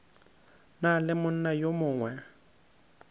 na le monna yo mongwe